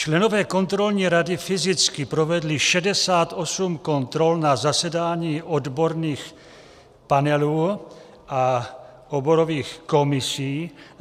Členové kontrolní rady fyzicky provedli 68 kontrol na zasedání odborných panelů a oborových komisí.